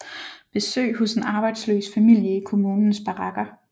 Besøg hos en arbejdsløs familie i kommunens barakker